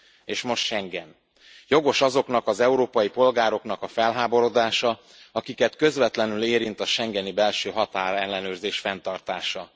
És most Schengen jogos azoknak az európai polgároknak a felháborodása, akiket közvetlenül érint a schengeni belső határellenőrzés fenntartása.